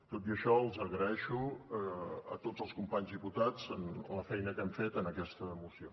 tot i això els agraeixo a tots els companys diputats la feina que hem fet en aquesta moció